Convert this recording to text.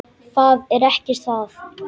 Það er ekki það.